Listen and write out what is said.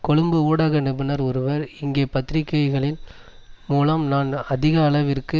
கொழும்பு ஊடக நிபுணர் ஒருவர் இங்கே பத்திரிகைகள் மூலம் நான் அதிக அளவிற்கு